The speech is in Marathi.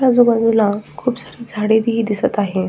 आजूबाजूला खुप सारी झाडेही दिसत आहेत.